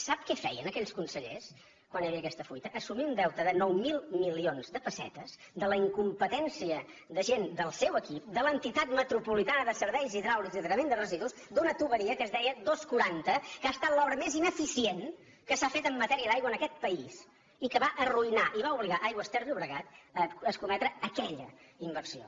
sap què feien aquells consellers quan hi havia aquesta fuita assumir un deute de nou mil milions de pessetes de la incompetència de gent del seu equip de l’entitat metropolitana de serveis hidràulics i tractament de residus d’una canonada que es deia dos cents i quaranta que ha estat l’obra més ineficient que s’ha fet en matèria d’aigua en aquest país i que va arruïnar i va obligar aigües ter llobregat a escometre aquella inversió